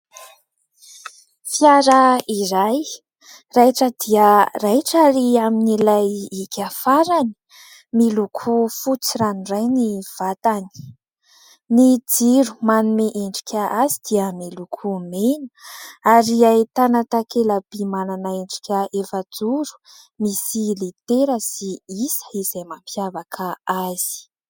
Fiara iray raitra dia raitra ary amin'ilay hika farany, miloko fotsy ranoray ny vatany. Ny jiro manome endrika azy dia miloko mena ary ahitana takela-by manana endrika efajoro misy litera sy isa izay mampiavaka azy.